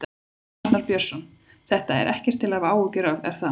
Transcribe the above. Arnar Björnsson: Þetta er ekkert til að hafa áhyggjur af, er það?